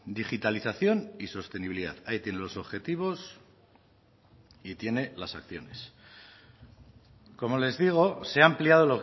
digitalización y sostenibilidad ahí tiene los objetivos y tiene las acciones como les digo se ha ampliado